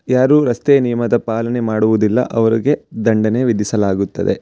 ಯಾರು ರಸ್ತೆ ನಿಯಮದ ಪಾಲನೆ ಮಾಡುವುದಿಲ್ಲ ಅವರಿಗೆ ದಂಡನೆ ವಿಧಿಸಲಾಗುತ್ತದೆ.